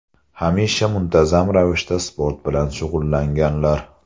Hamisha muntazam ravishda sport bilan shug‘ullanganlar.